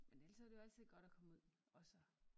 Men ellers så det jo altid godt at komme ud og så